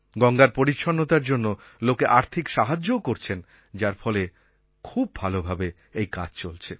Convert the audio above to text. গঙ্গার পরিচ্ছন্নতার জন্য লোকে আর্থিক সাহায্যও করছেন যার ফলে খুব ভালোভাবে এই কাজ চলছে